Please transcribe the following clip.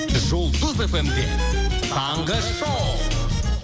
жұлдыз фм де таңғы шоу